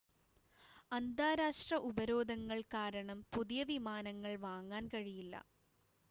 അന്താരാഷ്ട്ര ഉപരോധങ്ങൾ കാരണം പുതിയ വിമാനങ്ങൾ വാങ്ങാൻ കഴിയില്ല